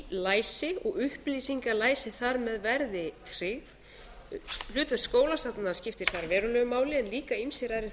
læsi og upplýsingalæsi þar með verði tryggð hlutverk skólastofnana skiptir þar verulegu máli en líka ýmsir aðrir